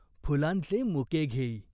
फुलांचे मुके घेई.